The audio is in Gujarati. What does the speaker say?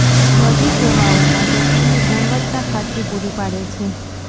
બધી સેવાઓ માટે ક્લિનિક ગુણવત્તા ખાતરી પૂરી પાડે છે